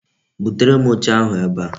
Butere m oche ahu ebe a